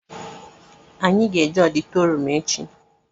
Anyị ga-eje ọditorịum echi